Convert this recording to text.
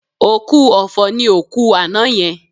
Òkú ọ̀fọ̀ ni òkú àná yẹn